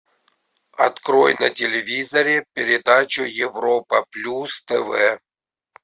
открой на телевизоре передачу европа плюс тв